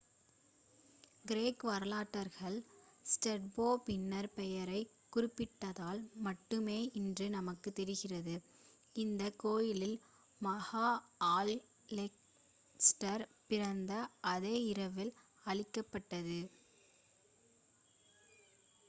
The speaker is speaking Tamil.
கிரேக்க வரலாற்றாளர் ஸ்ட்ராபோ பின்னர் பெயரை குறிப்பிட்டதால் மட்டுமே இன்று நமக்குத் தெரிகிறது அந்த கோயில் மகா அலெக்ஸாண்டர் பிறந்த அதே இரவில் அழிக்கப் பட்டது